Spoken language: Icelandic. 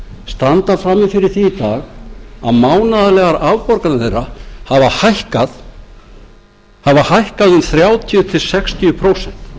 standa frammi fyrir því í dag að mánaðarlegar afborganir þeirra hafa hækkað um þrjátíu til sextíu prósent